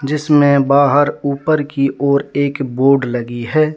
जिसमें बाहर ऊपर की ओर एक बोर्ड लगी है।